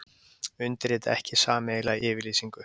Undirrita ekki sameiginlega yfirlýsingu